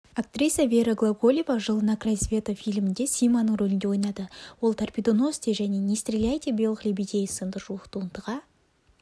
актриса вера глаголева жылы на край света фильмінде симаның рөлінде ойнады ол торпедоносцы және не стреляйте белых лебедей сынды жуық туындыға